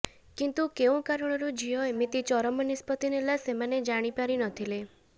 କିନ୍ତୁ କେଉଁ କାରଣରୁ ଝିଅ ଏମିତି ଚରମ ନିଷ୍ପତ୍ତି ନେଲା ସେମାନେ ଜାଣିପାରି ନଥିଲେ